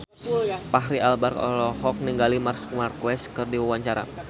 Fachri Albar olohok ningali Marc Marquez keur diwawancara